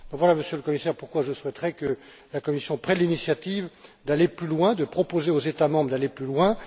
Voilà, Monsieur le Commissaire, pourquoi je souhaiterais que la Commission prenne l'initiative d'aller plus loin, de proposer aux États membres d'aller plus loin.